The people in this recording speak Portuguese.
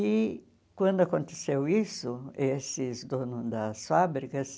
E quando aconteceu isso, esses donos das fábricas